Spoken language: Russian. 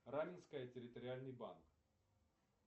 раменское территориальный банк